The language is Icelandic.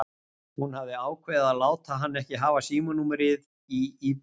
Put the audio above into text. Hún hafði ákveðið að láta hann ekki hafa símanúmerið í íbúðinni.